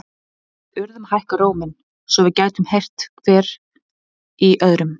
Við urðum að hækka róminn, svo við gætum heyrt hver í öðrum.